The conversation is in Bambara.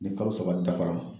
Ni kalo saba dafara